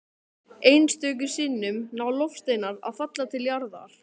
Einstöku sinnum ná loftsteinar að falla til jarðar.